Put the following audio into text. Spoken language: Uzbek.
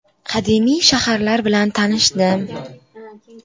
Qadimiy shaharlar bilan tanishdim.